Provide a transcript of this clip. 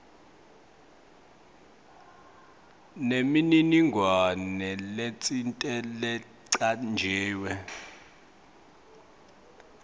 nemininingwane letsite lecanjiwe